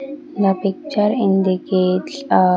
the picture indicates a --